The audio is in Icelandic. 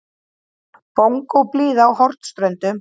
Bongóblíða á Hornströndum.